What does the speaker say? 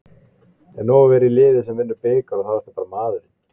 Er nóg að vera í liði sem vinnur bikar og þá ertu bara maðurinn?